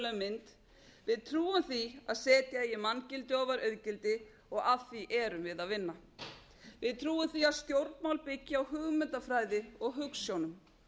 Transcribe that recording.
mynd við trúum því að setja eigi manngildi ofar auðgildi og að því erum við að vinna við trúum því að stjórnmál byggi á hugmyndafræði og hugsjónum